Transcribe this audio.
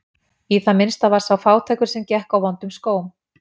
Í það minnsta var sá fátækur sem gekk á vondum skóm.